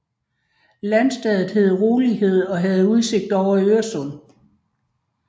Landstedet hed Rolighed og havde udsigt ud over Øresund